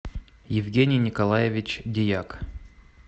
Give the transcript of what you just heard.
евгений николаевич дьяк